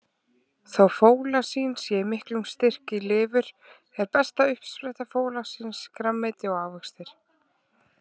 Þó fólasín sé í miklum styrk í lifur, er besta uppspretta fólasíns grænmeti og ávextir.